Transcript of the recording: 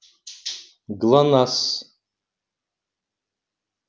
глонассс